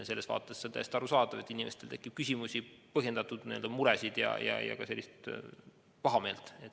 Selles vaates on täiesti arusaadav, et inimestel tekib küsimusi, põhjendatud muresid ja ka pahameelt.